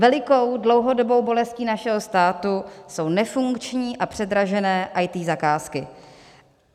Velikou dlouhodobou bolestí našeho státu jsou nefunkční a předražené IT zakázky.